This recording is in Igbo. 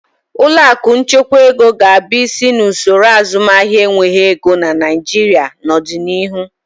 Ụlọ akụ nchekwa ego ga-abụ isi n'usoro azụmahịa enweghị ego na Naịjirịa n'ọdịnihu.